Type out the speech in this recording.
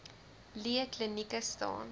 lee klinieke staan